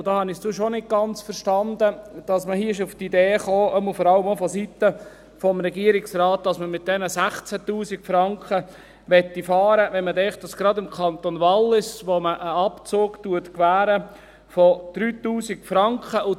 Dabei habe ich doch nicht ganz verstanden, dass man hier auf die Idee gekommen ist, vor allem auch vonseiten des Regierungsrates, dass man mit diesem 16 000 Franken fahren möchte, wenn man denkt, dass man gerade im Kanton Wallis einen Abzug von 3000 Franken gewährt.